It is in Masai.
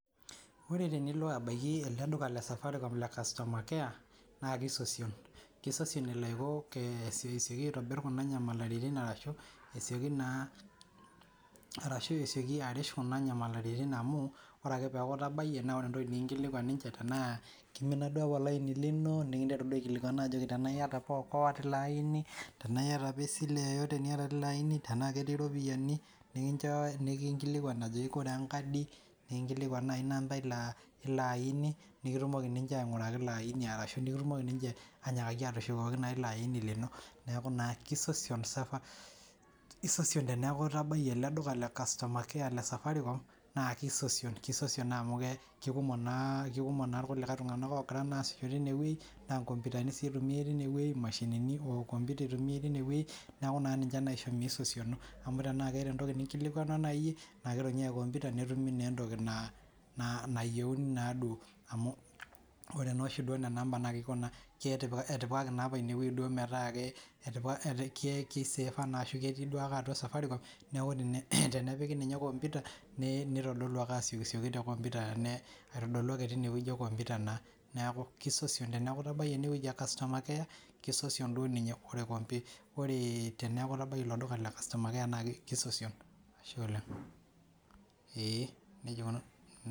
ore tenilo abaiki eleduka le safaricom le customer care naa keisosion elo asioki sioki aitobirr kuna nyamalaritin arashu esioki naa ashuu esioki arrish kuna nyamalaritin amu oree ake peeku itabayie naa ore entoki nikinkilukuan ninche tena keimina duo ake olaini lino nikintero duo aikilikuan ajo tenaa iyata apa okoa tilo aini tenaa iyata apa esile yoyote apa niata teilo aini tenaa ketii irropiyiani nikincho nikinkilikuan ajoki koree apa enkadi nikinkilikuan nayii inampa ilo aini nekitumoki ninche aing'uraki ilo aini arashu nikitumoki ninche ainyakii naa atushukoki naa ilo aini lino neeku naa keisosion esosion teneeaku itabayie eleduka le customer care le safaricom naa keisosion naa amu kekumok naa irkulikae tung'anak oogira naa aasisho teine wei naa inkomputani sii eitumiai teine weii imashinini computer eitumiai tinewei neeku naa ninche naishoo meisosino amu tenaa keeta entoki ninkilikuanwa naai iye naakeitumia computer neitumi naa entoki nayieuni naa duo amu ore naa oshi naena ampa naa etipikaki naa apa ine wei duoo metaa etipikaki kei save a ashuu naa ketii duo ake atua safaricom neeku tenepiki ninye computer neitodolu ake asioki sioki te computer aitodolu ake teine wei ee computer neeku keisosion teneakuu itabayie ene wei ee customer care keisosion duo inye oleng' ,ashe oleng'.